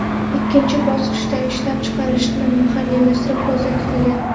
Ikkinchi bosqichda ishlab chiqarishni mahalliylashtirish ko‘zda tutilgan.